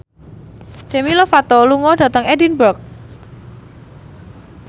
Demi Lovato lunga dhateng Edinburgh